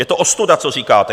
Je to ostuda, co říkáte.